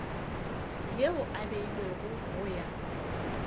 yeo e beilwego go ya